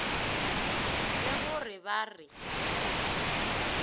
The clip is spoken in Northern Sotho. le go re ba re